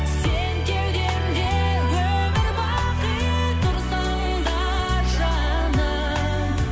сен кеудемде өмір бақи тұрсаң да жаным